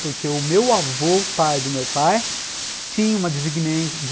Porque o meu avô, pai do meu pai, tinha uma desi